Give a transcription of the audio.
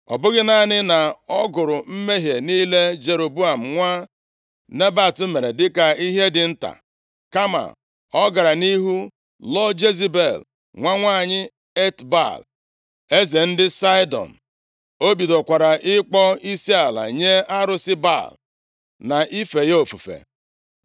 Ọ bụghị naanị na ọ gụrụ mmehie niile Jeroboam nwa Nebat mere dị ka ihe dị nta, kama ọ gara nʼihu lụọ Jezebel, nwa nwanyị Etbaal, eze ndị Saịdọn. + 16:31 \+xt Dit 7:3; Nkp 18:7\+xt* O bidokwara ịkpọ isiala nye arụsị Baal, na ife ya ofufe.